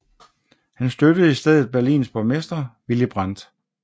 Han støttede i stedet Berlins borgmester Willy Brandt